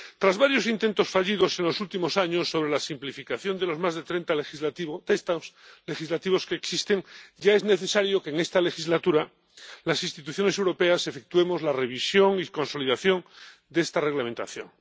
Tras varios intentos fallidos en los últimos años sobre la simplificación de los más de 30 textos legislativos que existen, ya es necesario que en esta legislatura las instituciones europeas efectuemos la revisión y consolidación de esta reglamentación.